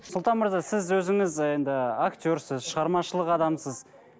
сұлтан мырза сіз өзіңіз енді актерсіз шығармашылық адамсыз